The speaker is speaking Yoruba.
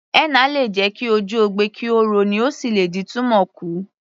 Henna lè jẹ ki ojú ogbe kí ó rọ ní, ó sì lè dín túmọ̀ kù